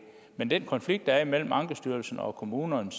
men den konflikt der er mellem ankestyrelsen og kommunerne